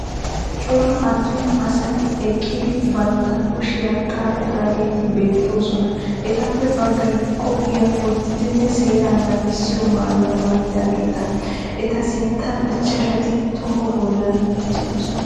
Cora attuma asati eqqidi bantta kushiya xaaxidaageeti beettoosona. Etappe baggay qophoya wottidinne seeraa naagissiyo mayuwa mayidaageeta. Eta sinttan ichchashati toho bollan uttidosona.